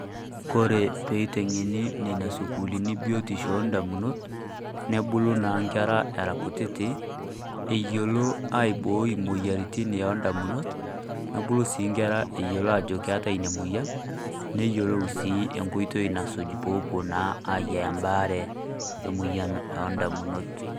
Kore pee iteng'ene nenia suukulini biutisho o damunot, nebuluu naa nkerra era nkutiti eiyelo aiboi moyaritin o damunot. Nebuluu si nkerra eiyelo ajo keeta nenia moyaan neiyelou sii enkoitoi nasuuj poo opo naa aiyaa baare e moyaan e damunot.